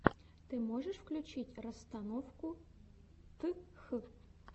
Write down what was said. ты можешь включить расстановку тх